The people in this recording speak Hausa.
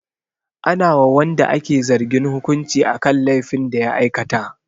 Ana wa wanda ake zargin hukunci akan laifin da ya aikata.